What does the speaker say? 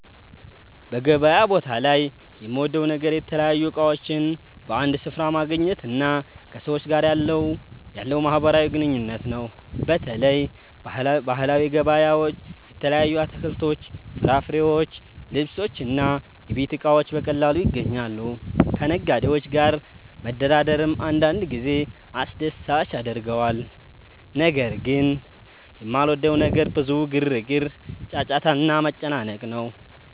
በገበያ ቦታ ላይ የምወደው ነገር የተለያዩ እቃዎችን በአንድ ስፍራ ማግኘት እና ከሰዎች ጋር ያለው ማህበራዊ ግንኙነት ነው። በተለይ ባህላዊ ገበያዎች የተለያዩ አትክልቶች፣ ፍራፍሬዎች፣ ልብሶች እና የቤት እቃዎች በቀላሉ ይገኛሉ። ከነጋዴዎች ጋር መደራደርም አንዳንድ ጊዜ አስደሳች ያደርገዋል። ነገር ግን የማልወደው ነገር ብዙ ግርግር፣ ጫጫታ እና መጨናነቅ ነው።